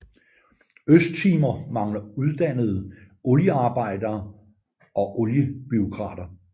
Østtimor mangler uddannede oliearbejdere og oliebureaukrater